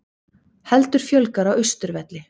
Heldur fjölgar á Austurvelli